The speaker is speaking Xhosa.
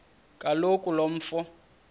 kaloku lo mfo